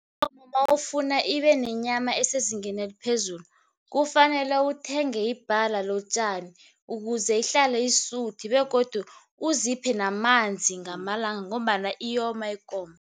Mawufuna ibenenyama esezingeni eliphezulu, kufanele uthenge ibhala lotjani ukuze ihlale isuthi begodu uziphe namanzi ngamalanga ngombana iyoma ikomo.